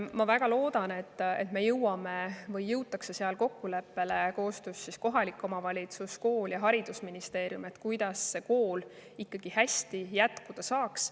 Ma väga loodan, et seal jõutakse kohaliku omavalitsuse, kooli ja haridusministeeriumi koostöös kokkuleppele, kuidas kool ikkagi jätkata saaks.